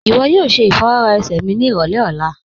Iwọ yóò ṣẹ ifọwọra ẹ̀sẹ̀ mi ni irọlẹ̀ ọ̀la